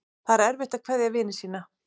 Það er erfitt að kveðja vini sína.